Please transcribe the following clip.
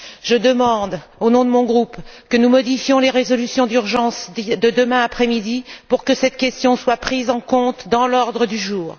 Je demande, au nom de mon groupe, que nous modifions les résolutions d'urgence de demain après midi afin que cette question soit prise en compte dans l'ordre du jour.